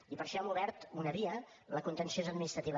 i per això hem obert una via la contenciosa administrativa